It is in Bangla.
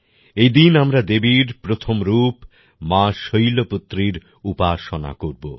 এদিন আমরা দেবীর প্রথম রূপ মা শৈলপুত্রীর উপাসনা করব